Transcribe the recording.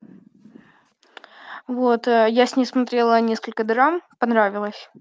вот я с ней смотрела несколько драм понравилось